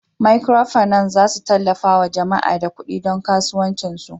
"microfinance" zasu tallafawa jama'a da kudi don kasuwanci su.